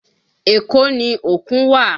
Èkó ni òkun wà